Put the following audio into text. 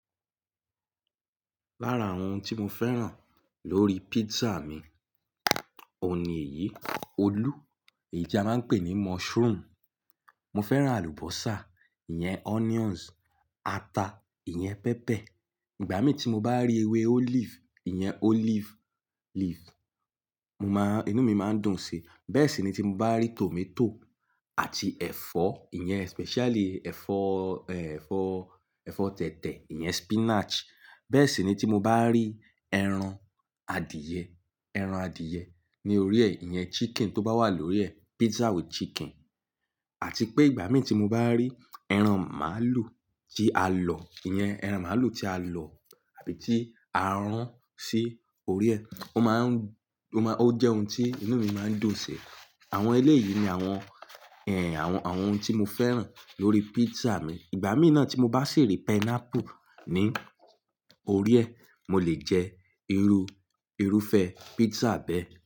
Lára awon ohun tí mo fẹ́ràn lórí pizza mi, òun níyìí, olú, èyí tí a máa ń pè ní mushroom. Mo fẹ́ràn àlùbọ́sà, ìyẹn onions, ata, ìyẹn pepper. Ìgbà mí tí mo bá rí ewé olive, ìyẹn olive leaf, mo máa-- inú mi máa ń dùn si. Bẹ́ẹ̀ sì ni tí mo bá rí tomato àti ẹ̀fọ́, ìyẹn especially ẹ̀fọ́, ẹ́, ẹ̀fọ́, ẹ̀fọ́ tẹ̀tẹ̀, ìyẹn spinach. Bẹ́ẹ̀ sì ni tí mo bá rí ẹran adìẹ, ẹran adìẹ ní orí ẹ, ìyẹn chicken tó bá wà lórí ẹ, pizza with chicken. Àti pé ìgbà mí tí mo bá rí ẹran màlúù tí a lọ, ìyẹn ẹran màlúù tí a lọ àbí tí a rún sí orí ẹ, ó máa ń, ó máa, ó jẹ́ ohun tí inú mi máa ń dùn si. Àwọn eléyìí ni àwọn, ẹ́, àwọn, àwọn ohun tí mo fẹ́ràn lórí pizza mi. Ìgbà mí náà tí mo bá ṣi ri pineapple ní orí ẹ, mo lè jẹ irú, irúfẹ́ pizza bẹ́ẹ̀.